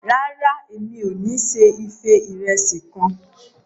Ràrá, Èmi ò se ife irẹsi kàn